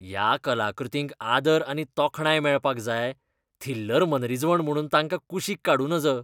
ह्या कलाकृतींक आदर आनी तोखणाय मेळपाक जाय, थिल्लर मनरिजवण म्हुणून तांकां कुशीक काडूं नज.